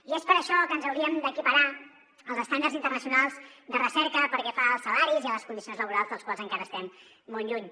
i és per això que ens hauríem d’equiparar als estàndards internacionals de recerca pel que fa als salaris i a les condicions laborals dels quals encara estem molt lluny